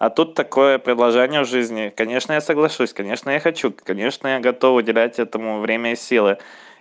а тут такое предложение в жизни конечно я соглашусь конечно я хочу конечно я готов уделять этому время и силы